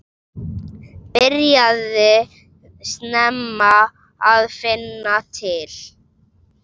Byrjaði snemma að finna til.